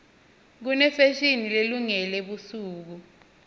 kunefashini lelungele busuku